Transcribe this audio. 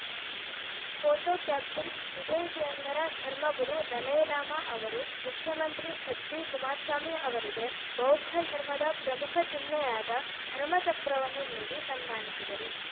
photo caption ಟಿಬೆಟಿಯನ್ನರ ಧರ್ಮಗುರು Dalai Lama ಅವರು ಮುಖ್ಯಮಂತ್ರಿ ಎಚ್‌ಡಿಕುಮಾರಸ್ವಾಮಿ ಅವರಿಗೆ ಬೌದ್ಧಧರ್ಮದ ಪ್ರಮುಖ ಚಿಹ್ನೆಯಾದ ಧರ್ಮಚಕ್ರವನ್ನು ನೀಡಿ ಸನ್ಮಾನಿಸಿದರು